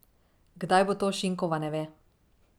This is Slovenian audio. Kdaj bo to, Šinkova ne ve.